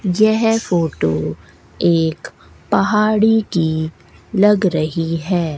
यह फोटो एक पहाड़ी की लग रही है।